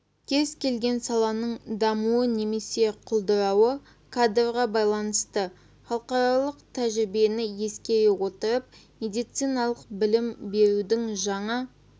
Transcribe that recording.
кез келген саланың дамуы немесе құлдырауы кадрға байланысты халықаралық тәжірибені ескере отырып медициналық білім берудің жаңа